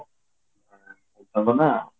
ଭଲ ନା